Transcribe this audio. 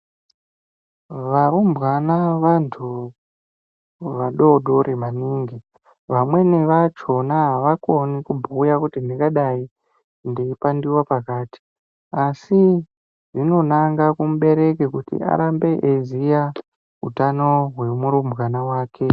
Varumbwana vevantu vadodori maningi vamweni vachona avakoni kubhuya kuti ndingadai ndeipandiwa pakati asi zvinonanga kumubereki kuti arambe eiziya utano hwemurumbwana wake.